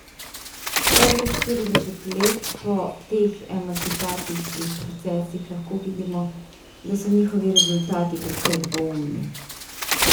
Dobrih štirideset let po teh emancipacijskih procesih lahko vidimo, da so njihovi rezultati precej dvoumni.